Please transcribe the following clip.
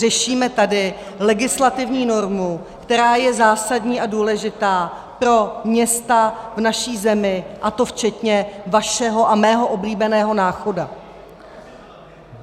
Řešíme tady legislativní normu, která je zásadní a důležitá pro města v naší zemi, a to včetně vašeho a mého oblíbeného Náchoda.